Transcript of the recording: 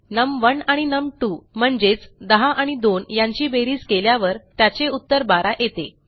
नम1 आणि नम2 म्हणजेच10 एंड 2यांची बेरीज केल्यावर त्याचे उत्तर 12 येते